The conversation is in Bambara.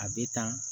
A bɛ tan